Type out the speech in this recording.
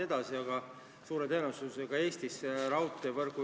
Palun võtta seisukoht ja hääletada!